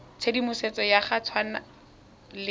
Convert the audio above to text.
tshedimosetso ya go tshwana le